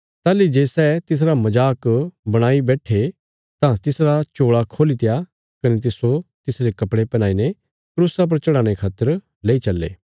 ताहली जे सै तिसरा मजाक बणाई बैट्ठे तां तिसरा चोल़ा खोलीत्या कने तिस्सो तिसरे कपड़े पैहनाई ने क्रूसा पर चढ़ाणे खातर लेई चल्ले